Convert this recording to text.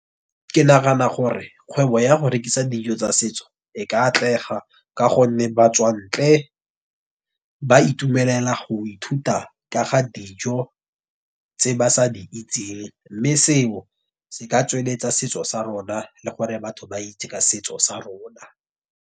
Ke nagana gore kgwebo ya go rekisa dijo tsa setso, e ka atlega ka gonne batswantle ba itumelela go ithuta ka ga dijo tse ba sa di itseng. Mme seo, se ka tsweletsa setso sa rona, Le gore batho ba itse ka setso sa rona.